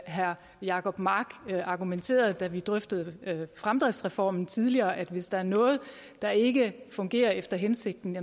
herre jacob mark argumenterede da vi drøftede fremdriftsreformen tidligere nemlig at hvis der er noget der ikke fungerer efter hensigten